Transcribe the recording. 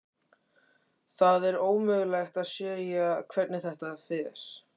Það er ómögulegt að segja hvernig þetta fer.